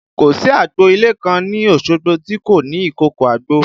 Kò sí agbo ilé kan ní Osogbo tí kò ní ìkòkò àgbò